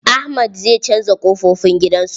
Ahmad zai canza ƙofofin gidan su.